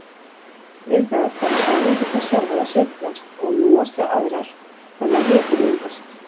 Við það fara sameindirnar sjálfar að sveiflast og núast við aðrar þannig að hiti myndast.